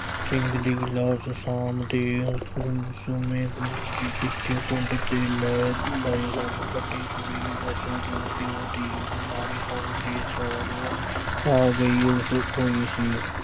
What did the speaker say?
ਸਿੰਘ ਦੀ ਲਾਸ਼ ਸ਼ਾਮ ਦੇ ਗੁੰਮਸੁੰਮੇ ਵਿੱਚ ਪਿੰਡ ਅਤੇ ਲਹਿਰ ਲਾਈ ਲੱਗ ਕੱਢੀ ਹੋਈ ਜੋ ਕਿ ਉਹਦੀ ਬਿਮਾਰੀ ਸੁਣ ਕੇ ਸਹੁਰਿਉਂ ਆ ਗਈ । ਉਸ ਕੋਈ ਸੀ